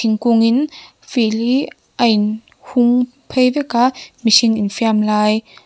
thingkung in field hi a in hung phei vek a mihring infiam lai--